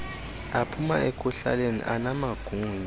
aphuma ekuhlaleni anamagunya